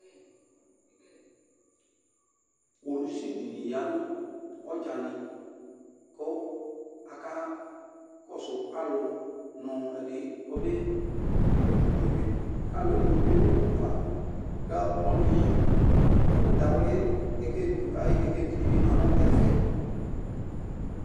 Kpolusi di ni ya nu ɔdzani, ku aka kɔsu alu nu ɛdi k'ɔbe kpɔtsi une mɛ, k'alu'ɛdi ni tsue nu uva, kǝ ɔlu yi ɛku d'awli kɛkɛv ayu kɛkevi di bi ma nu ɛfɛ